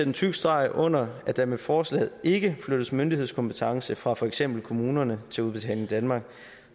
en tyk streg under at der med forslaget ikke flyttes myndighedskompetence fra for eksempel kommunerne til udbetaling danmark